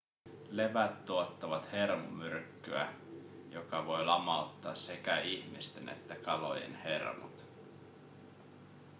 levät tuottavat hermomyrkkyä joka voi lamauttaa sekä ihmisten että kalojen hermot